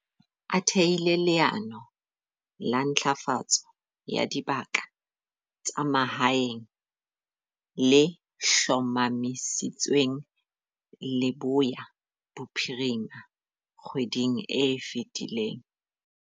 A thehile leano la Ntlafatso ya Dibaka tsa Mahaeng, le hlomamisitsweng Leboya Bophirima kgweding e fetileng.